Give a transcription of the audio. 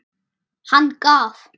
Hann gaf